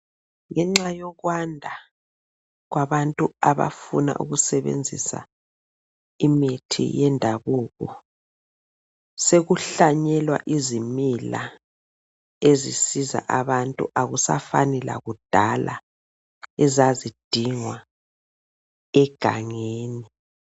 Ngenxa yokwanda kwabantu abafuna ukusebenzisa imithi yendabuko sekuhlanyelwa izimila ezisiza abantu akusafani lakudala ezazidingwa egangeni.